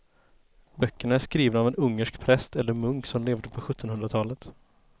Böckerna är skrivna av en ungersk präst eller munk som levde på sjuttonhundratalet.